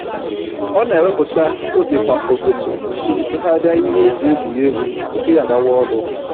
Ọ na-ewepụta oge kwa ụtụtụ iji tụgharịa ihe e ji egwuri egwu tupu ya agawa ọrụ